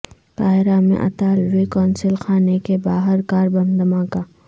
قاہرہ میں اطالوی قونصل خانے کے باہر کار بم دھماکہ